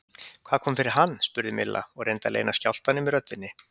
Hvað kom fyrir hann? spurði Milla og reyndi að leyna skjálftanum í röddinni.